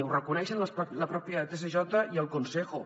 ho reconeixen el propi tsj i el consejo